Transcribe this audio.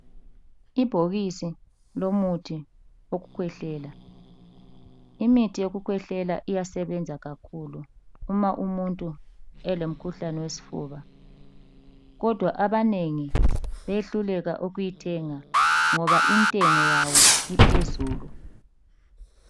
Ibhokisi lomuthi wokukhwehlela. Imithi yokukhwehlela iyasebenza kakhulu uma umuntu elomkhuhlane wesifuba. Kodwa abanengi bayehluleka ukuyithenga ngoba intengo yawo iphezulu.